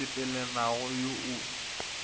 wo o sepelelanagole wo o